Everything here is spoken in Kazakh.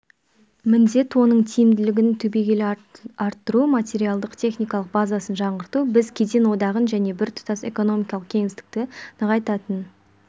міндет оның тиімділігін түбегейлі арттыру материалдық-техникалық базасын жаңғырту біз кеден одағын және біртұтас экономикалық кеңістікті нығайтатын